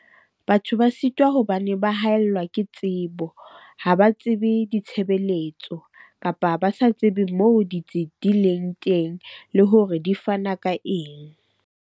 Batho ba sitwa hobane ba haellwa ke tsebo. Ha ba tsebe ditshebeletso, kapa ba sa tsebe moo ditsi di leng teng le hore di fana ka eng?